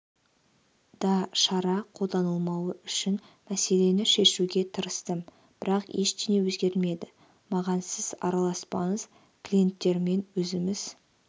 да шара қолданылмауы үшін мәселені шешуге тырыстым бірақ ештеңе өзгермеді маған сіз араласпаңыз клиенттермен өзіміз